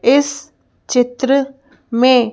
इस चित्र में--